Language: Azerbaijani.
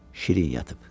Şirin yatıb.